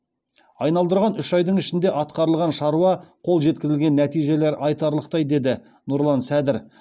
айналдырған үш айдың ішінде атқарылған шаруа қол жеткізілген нәтижелер айтарлықтай деді нұрлан сәдір